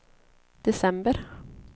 december